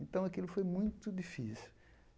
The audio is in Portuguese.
Então, aquilo foi muito difícil.